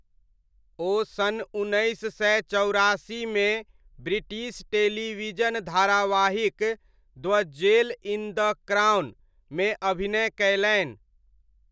ओ सन् उन्नैस सय चौरासीमे ब्रिटिश टेलिविजन धारावाहिक 'the jewel in the crown' मे अभिनय कयलनि।